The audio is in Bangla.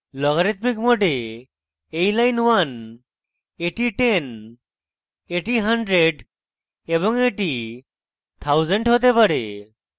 logarithmic mode in line 1 in 10 in 100 এবং in 1000 হতে পারে